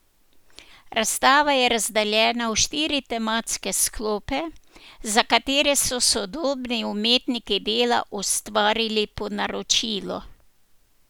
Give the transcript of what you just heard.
Razstava je razdeljena v štiri tematske sklope, za katere so sodobni umetniki dela ustvarili po naročilu.